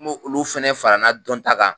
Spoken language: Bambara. N' b'olu fɛnɛ fara na dɔn ta ka.